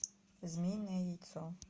змеиное яйцо